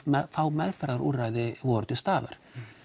fá meðferðarúrræði voru til staðar